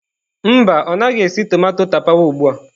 Mba, ọ naghị esi tomato tapawa ugbu a.